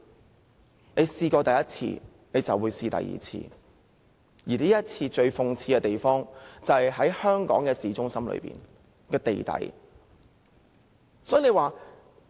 這種事情只要試過第一次，便會有第二次，而這次最諷刺的是，此事發生在香港市中心的地底。